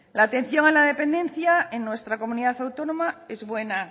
la atención a la dependencia en nuestra comunidad autónoma es buena